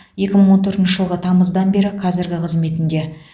екі мың он төртінші жылғы тамыздан бері қазіргі қызметінде